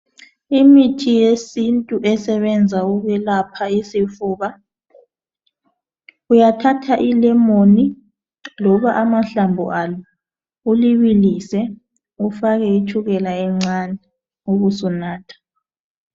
Imithi yesiNtu esebenza ukwelapha isifuba uyathatha ilemoni loba amahlamvu alo ulibilise ufake itshukela encane ubusunatha.